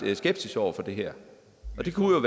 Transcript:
skepsis over for det her det kunne